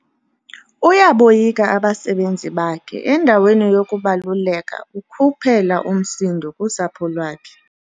Uyaboyika abasebenzi bakhe endaweni yokubaluleka ukhuphela umsindo kusapho lwakhe.